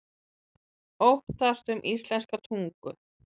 Óttast um íslenska tungu